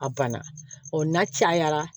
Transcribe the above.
A banna ɔ n'a cayara